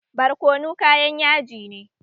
Barkono kayan yaji ne